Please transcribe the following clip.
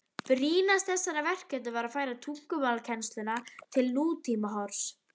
Brýnast þessara verkefna var að færa tungumálakennsluna til nútímahorfs.